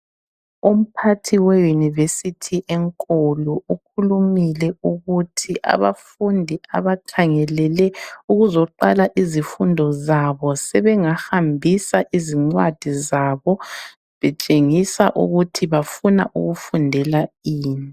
Umphathi we university enkulu ukhulumile ukuthi abafundi abakhangelele ukuzoqala izifundo sebengahambisa izingcwadi zabo betshengisa ukuthi bafuna ukufundela ini